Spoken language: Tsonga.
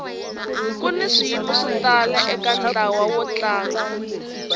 kuni swiyimo swo tala eka ntlawa wo tlanga